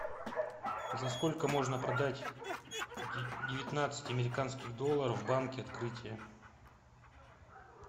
за сколько можно продать девятнадцать американских долларов в банке открытие